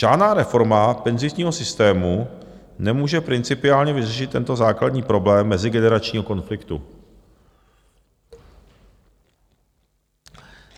Žádná reforma penzijního systému nemůže principiálně vyřešit tento základní problém mezigeneračního konfliktu.